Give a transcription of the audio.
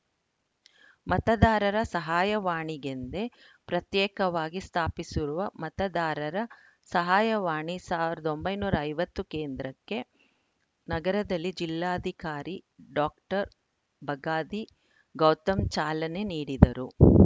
ಮತದಾರರ ಸಹಾಯವಾಣಿಗೆಂದೇ ಪ್ರತ್ಯೇಕವಾಗಿ ಸ್ಥಾಪಿಸಿರುವ ಮತದಾರರ ಸಹಾಯವಾಣಿ ಸಾವಿರದ ಒಂಬೈನೂರ ಐವತ್ತು ಕೇಂದ್ರಕ್ಕೆ ನಗರದಲ್ಲಿ ಜಿಲ್ಲಾಧಿಕಾರಿ ಡಾಕ್ಟರ್ ಬಗಾದಿ ಗೌತಮ್‌ ಚಾಲನೆ ನೀಡಿದರು